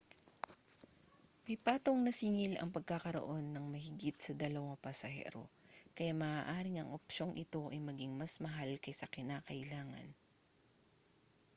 may patong na singil ang pagkakaroon ng mahigit sa 2 pasahero kaya maaaring ang opsyong ito ay maging mas mahal kaysa kinakailangan